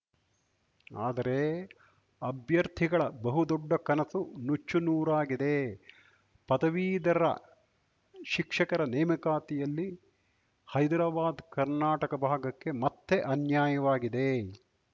ಆದರೆ ಅಭ್ಯರ್ಥಿಗಳ ಬಹುದೊಡ್ಡ ಕನಸು ನುಚ್ಚುನೂರಾಗಿದೆ ಪದವೀಧರ ಶಿಕ್ಷಕರ ನೇಮಕಾತಿಯಲ್ಲಿ ಹೈದ್ರಾಬಾದ್ಕರ್ನಾಟಕ ಭಾಗಕ್ಕೆ ಮತ್ತೆ ಅನ್ಯಾಯವಾಗಿದೆ